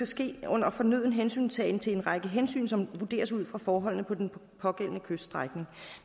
ske under fornøden hensyntagen til en række hensyn som vurderes ud fra forholdene på den pågældende kyststrækning